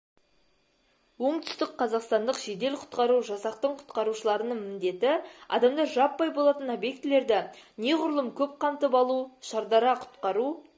оңтүстік қазақстандық жедел-құтқару жасақтың құтқарушыларының міндеті адамдар жаппай болатын объектілерді неғұрлым көп қамтып алу шардара құтқару